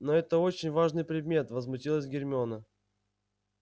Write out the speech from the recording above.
но это очень важный предмет возмутилась гермиона